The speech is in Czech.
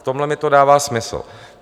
V tomhle mi to dává smysl.